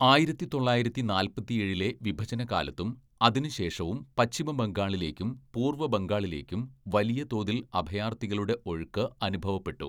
ആയിരത്തി തൊള്ളായിരത്തി നാല്‍പത്തിയേഴിലെ വിഭജനകാലത്തും അതിനുശേഷവും പശ്ചിമബംഗാളിലേക്കും പൂർവബംഗാളിലേക്കും വലിയ തോതിൽ അഭയാർഥികളുടെ ഒഴുക്ക് അനുഭവപ്പെട്ടു.